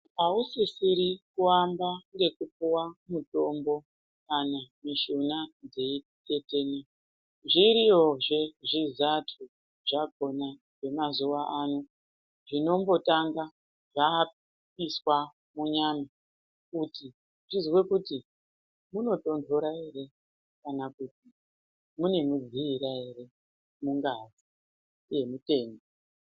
Ausisiri kuamba ngekupuwa mutombo kana mishuna dzeitetena, zviriyozve zvizato zvakhona zvemazuwa ano zvinombotanga zvaiswa munyama kuti zvizwe kuti munotonhora ere kana kuti mune mudziira ere mungazi yemutanda.